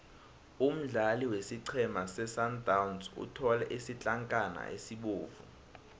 umdlali wesiqhema sesundowns uthole isitlankana esibovu